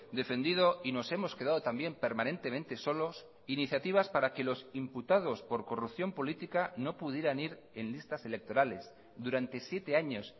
defendido y nos hemos quedado también permanentemente solos iniciativas para que los imputados por corrupción política no pudieran ir en listas electorales durante siete años